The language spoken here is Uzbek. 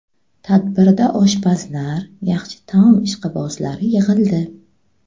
Tadbirda oshpazlar, yaxshi taom ishqibozlari yig‘ildi.